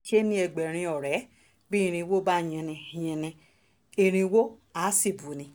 torí ìṣonú ayé là á ṣe ń ní ẹgbẹ̀rin ọ̀rẹ́ bí irínwó bá yinni yinni irínwó àá sì buni